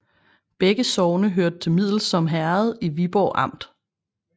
Begge sogne hørte til Middelsom Herred i Viborg Amt